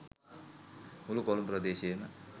මුළු කොළඹ ප්‍රදේශයම